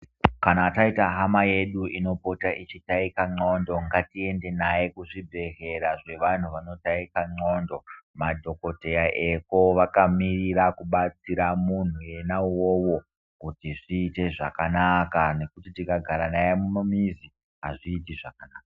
Kana taita hama yedu inopota ichitaika ndxondo ngatiende maye kuzvibhedhlera zvevantu vanotaika ndxondo. Madhogodheya eko vakamirira kubatsira muntu ena ivovo kuti zviite zvakanaka. Nekuti tikagara naye mumamizi hazviiti zvakanaka.